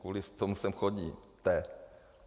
Kvůli tomu sem chodíte.